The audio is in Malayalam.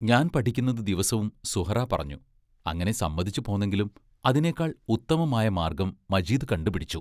ഞാൻ പഠിക്കുന്നത് ദിവസവും സുഹ്റാ പറഞ്ഞു അങ്ങനെ സമ്മതിച്ചു പോന്നെങ്കിലും അതിനേക്കാൾ ഉത്തമമായ മാർഗ്ഗം മജീദ് കണ്ടുപിടിച്ചു.